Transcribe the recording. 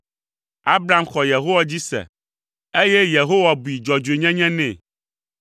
Abram xɔ Yehowa dzi se, eye Yehowa bui dzɔdzɔenyenye nɛ.